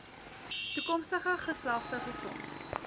toekomstige geslagte gesond